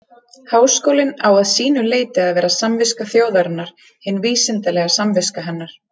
Háskólinn á að sínu leyti að vera samviska þjóðarinnar, hin vísindalega samviska hennar.